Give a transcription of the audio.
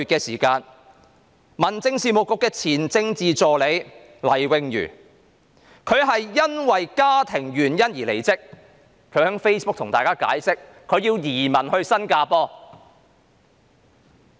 事隔1個月，民政事務局前政治助理黎穎瑜因家庭原因而離職，她在 Facebook 上向大家解釋她將會移民到新加坡。